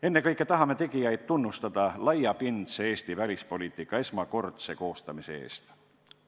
Ennekõike tahame tegijaid tunnustada laiapindse Eesti välispoliitika esmakordse koostamise eest.